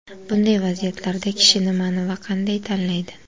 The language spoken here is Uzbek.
Bunday vaziyatlarda kishi nimani va qanday tanlaydi?